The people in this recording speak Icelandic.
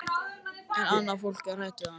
En annað fólk er hrætt við hann.